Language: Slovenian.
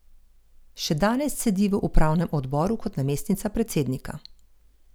Še danes sedi v upravnem odboru kot namestnica predsednika.